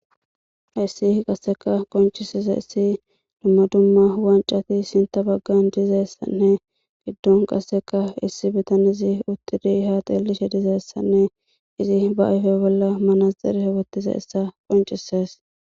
hayssi qasseka qoncisizaysi dumma dumma waancati sinta baggan dizaysanne giddon qasseka issi bitanesi uttidiihat eelishe dizeessanne izi baayfe bolla manasxire wothizaysa qoncisees